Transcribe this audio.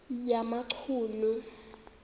yamachunu